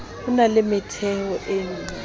ho na le metheo e